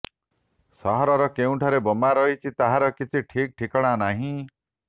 ସହରର କେଉଁଠାରେ ବୋମା ରହିଛି ତାହାର କିଛି ଠିକ୍ ଠିକଣା ନାହିଁ